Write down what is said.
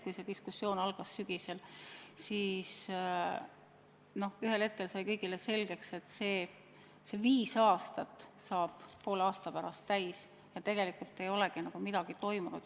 Kui see diskussioon sügisel algas, siis ühel hetkel sai kõigile selgeks, et viis aastat saab poole aasta pärast täis, aga tegelikult ei ole nagu midagi toimunud.